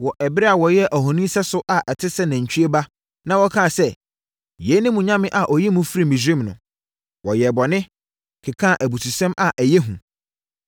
wɔ ɛberɛ a wɔyɛɛ ohoni sɛso a ɔte sɛ nantwie ba na wɔkaa sɛ, ‘Yei ne mo nyame a ɔyii mo firii Misraim no.’ Wɔyɛɛ bɔne, kekaa abususɛm a ɛyɛ hu.